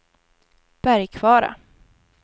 Bergkvara